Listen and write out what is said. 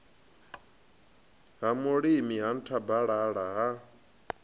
ha mulima ha nthabalala ha